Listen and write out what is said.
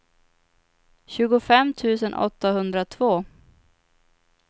tjugofem tusen åttahundratvå